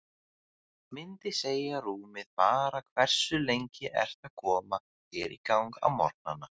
Myndi segja rúmið bara Hversu lengi ertu að koma þér í gang á morgnanna?